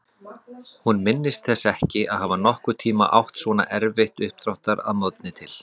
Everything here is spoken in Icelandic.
Hún minntist þess ekki að hafa nokkurn tímann átt svona erfitt uppdráttar að morgni til.